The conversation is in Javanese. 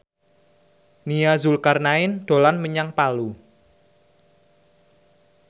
Nia Zulkarnaen dolan menyang Palu